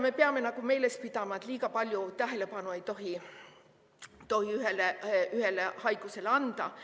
Me peame meeles pidama, et liiga palju tähelepanu ei tohi ühele haigusele anda.